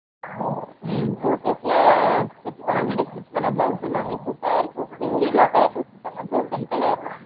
உம் Pothys லா already stretch பண்ண blouse எல்லாமே super ஆஹ் இருக்கும் full எல்லா color வச்சு இருப்பாங்க golden color pink color அப்புறம் saree match எல்லாமே இது பண்ணி வச்சு இருப்பாங்க எல்லாமே super இருக்கும்